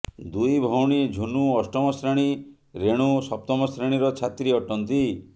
ଦୁଇ ଭଉଣୀ ଝୁନୁ ଅଷ୍ଟମ ଶ୍ରେଣୀ ରେଣୁ ସପ୍ତମ ଶ୍ରେଣୀର ଛାତ୍ରୀ ଅଟନ୍ତି